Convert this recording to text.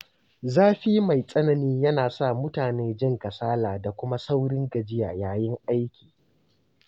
Zafi mai tsanani yana sa mutane jin kasala da kuma saurin gajiya yayin aiki.